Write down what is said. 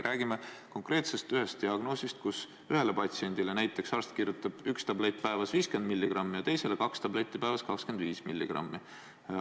Räägime konkreetselt ühest diagnoosist, kus ühele patsiendile kirjutab arst näiteks üks tablett päevas 50 milligrammi ja teisele kaks tabletti päevas 25 milligrammi.